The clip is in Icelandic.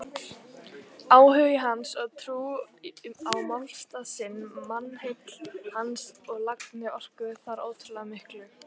Áhugi hans og trú á málstað sinn, mannheill hans og lagni orkuðu þar ótrúlega miklu.